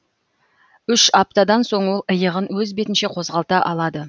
үш аптадан соң ол иығын өз бетінше қозғалта алады